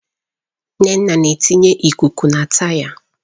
Nneka na-etinye ikuku na taya.